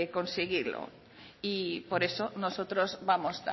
conseguirlo y por eso nosotros vamos